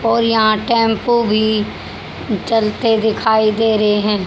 और यहा टेंपो भी चलते दिखाई दे रहे है।